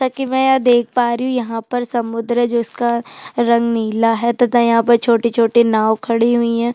तकी में यहाँ देख पा रही हूँ यहाँ पर समुद्र जिसका रंग नीला है तथा छोटे-छोटे नाव खड़े हुए है।